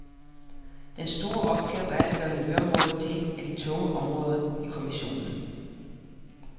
Den store opgave er at gøre miljøområdet til et af de tunge områder i kommissionen.